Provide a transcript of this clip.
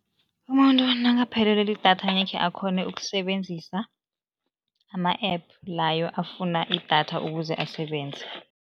Umuntu nakaphelelwe lidatha angekhe akghone ukusebenzisa ama-App layo afuna idatha ukuze asebenze.